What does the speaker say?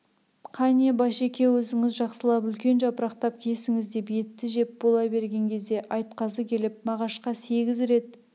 қане башеке өзіңіз жақсылап үлкен жапырақтап кесіңіз деп етті жеп бола берген кезде айтқазы келіп мағашқа сегіз рет